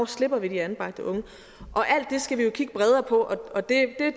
slipper de anbragte unge alt det skal vi jo kigge bredere på og det